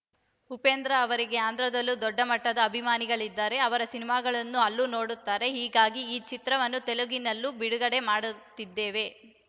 ಉಪೇಂದ್ರ ಅವರಿಗೆ ಆಂಧ್ರದಲ್ಲೂ ದೊಡ್ಡ ಮಟ್ಟದಲ್ಲಿ ಅಭಿಮಾನಿಗಳಿದ್ದಾರೆ ಅವರ ಸಿನಿಮಾಗಳನ್ನೂ ಅಲ್ಲೂ ನೋಡುತ್ತಾರೆ ಹೀಗಾಗಿ ಈ ಚಿತ್ರವನ್ನು ತೆಲುಗಿನಲ್ಲೂ ಬಿಡುಗಡೆ ಮಾಡುತ್ತಿದ್ದೇವೆ